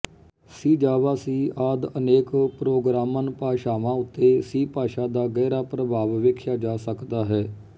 ਸੀ Java C ਆਦਿ ਅਨੇਕ ਪ੍ਰੋਗਰਾਮਨਭਾਸ਼ਾਵਾਂਉੱਤੇ ਸੀ ਭਾਸ਼ਾ ਦਾ ਗਹਿਰਾ ਪ੍ਰਭਾਵ ਵੇਖਿਆ ਜਾ ਸਕਦਾ ਹੈ